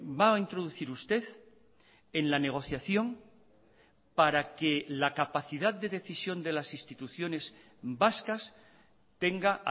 va a introducir usted en la negociación para que la capacidad de decisión de las instituciones vascas tenga